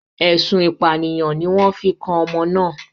Ẹ̀sùn ìpànìyàn ni wọ́n fi kan ọmọ náà.